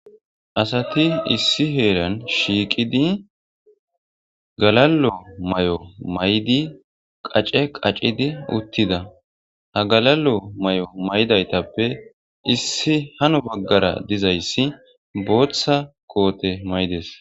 Asati issi heeran shiiqidi galalo may'o maydi qace qacidi uttida ha galalo may'o maydaytappe issi hano baggara dizayssi booththa koote maydes